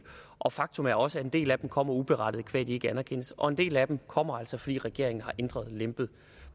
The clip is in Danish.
og faktum er også at en del af dem kommer uberettiget qua at de ikke anerkendes og en del af dem kommer altså fordi regeringen har lempet